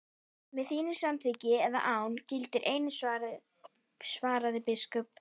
Með þínu samþykki eða án, gildir einu, svaraði biskup.